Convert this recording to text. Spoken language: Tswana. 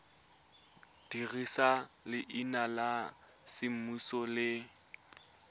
dirisa leina la semmuso le